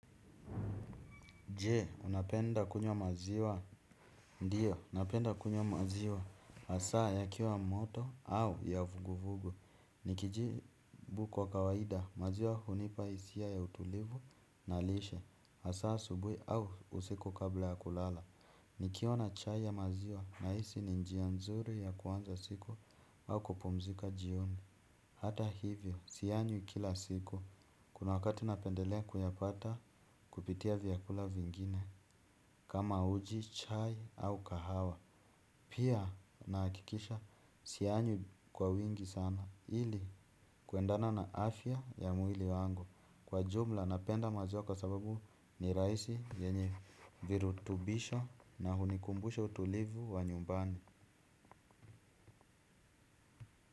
Je, unapenda kunywa maziwa. Ndiyo, unapenda kunyo maziwa. Hasaa yakiwa moto au ya vuguvugu. Nikijibu kwa kawaida, maziwa hunipa hisia ya utulivu na lishe. Hasaa asubuhi au usiku kabla ya kulala. Nikiona chai ya maziwa nahisi ni njia nzuri ya kuanza siku au kupumzika jioni. Hata hivyo, siyanywi kila siku. Kuna wakati napendelea kuyapata kupitia vyakula vingine. Kama uji, chai au kahawa pia nahakikisha siyanywi kwa wingi sana. Hili kuendana na afya ya mwili wangu. Kwa jumla napenda maziwa kwa sababu ni rahisi yenye virutubisho na hunikumbusha utulivu wa nyumbani.